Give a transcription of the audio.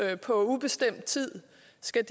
skal